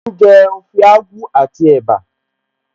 Mò ń jẹ Ode Akwu àti ẹ̀bá